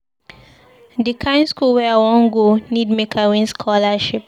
Di kind skool wey I wan go need make I win scholarship.